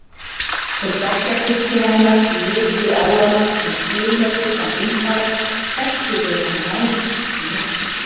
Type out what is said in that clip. Þótt bekkjarsystkini hennar litu á hana sem dularfullan einfara þekktu þeir hana nánast ekki neitt.